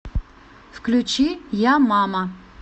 включи я мама